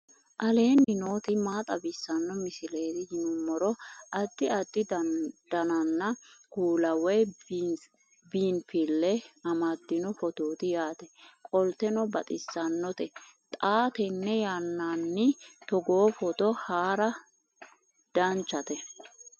aleenni nooti maa xawisanno misileeti yinummoro addi addi dananna kuula woy biinsille amaddino footooti yaate qoltenno baxissannote xa tenne yannanni togoo footo haara danvchate